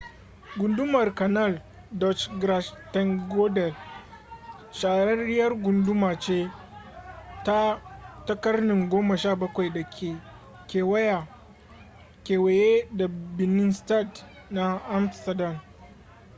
gundumar canal dutch: grachtengordel shahararriyar gunduma ce ta ƙarnin 17 da ke kewaye da binnenstad na amsterdam